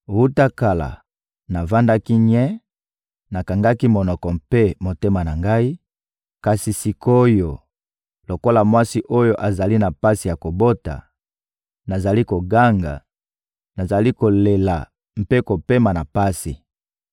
Wuta kala, navandaki nye, nakangaki monoko mpe motema na ngai; kasi sik’oyo, lokola mwasi oyo azali na pasi ya kobota, nazali koganga, nazali kolela mpe kopema na pasi.